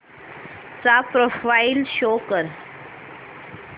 चा profile show कर